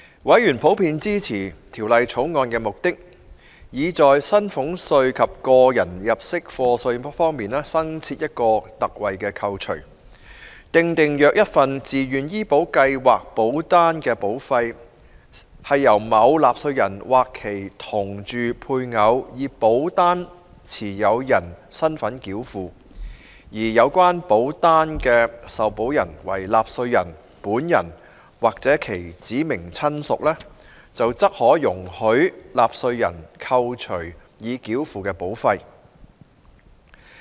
委員普遍支持《2018年稅務條例草案》的目的，以在薪俸稅及個人入息課稅新設一項特惠扣除，訂定若一份自願醫保計劃保單的保費，是由某納稅人或其同住配偶以保單持有人身份繳付，而有關保單的受保人為納稅人本人或其指明親屬，則可容許納稅人扣除已繳付的保費。